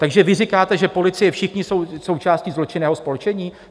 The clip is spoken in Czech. Takže vy říkáte, že policie, všichni jsou součástí zločinného spolčení?